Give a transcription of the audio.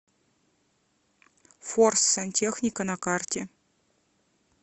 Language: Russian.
форс сантехника на карте